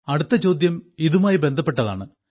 അടുത്ത ചോദ്യം ഇതുമായി ബന്ധപ്പെട്ടതാണ്